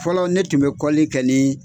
Fɔlɔ ne tun be kɔli kɛ nin